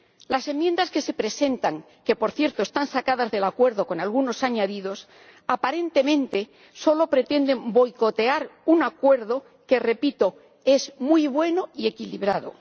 Las enmiendas que se presentan —que, por cierto, están sacadas del acuerdo con algunos añadidos—, aparentemente solo pretenden boicotear un acuerdo que, repito, es muy bueno y equilibrado.